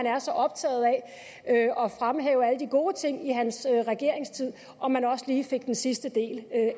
er så optaget af at fremhæve alle de gode ting i hans regeringstid om han også lige fik den sidste del af